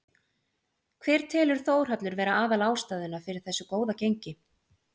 Hver telur Þórhallur vera aðal ástæðuna fyrir þessu góða gengi?